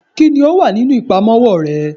kini o wa ninu ipamowo re?